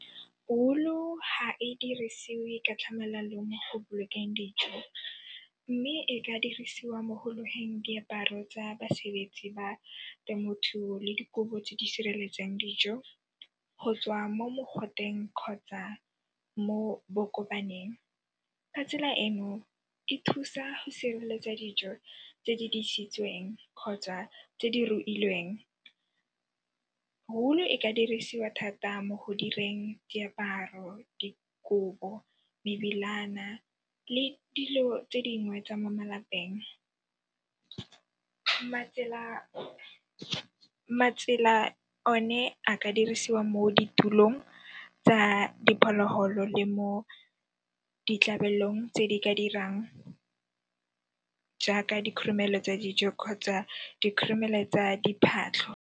Wool-u ha e dirisiwe ka tlhamalalo mo go bolokeng dijo mme e ka dirisiwa mo ho loheng diaparo tsa basebetsi ba temothuo le dikobo tse di sireletsang dijo go tswa mo mogoteng kgotsa mo bo kopaneng. Ka tsela eno e thusa go sireletsa dijo tse di disitsweng kgotsa tse di rukilweng. Wool e ka dirisiwa thata mo go direng diaparo, dikobo, mebilana le dilo tse dingwe tsa mo malapeng. Matsela one a ka dirisiwa mo ditulong tsa dipholoholo le mo ditlabelong tse di ka dirang jaaka dikhrumelo tsa dijo kgotsa dikhrumelo tsa diphatlho.